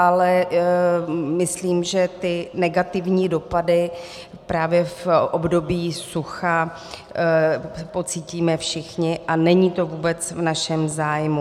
Ale myslím, že ty negativní dopady právě v období sucha pocítíme všichni, a není to vůbec v našem zájmu.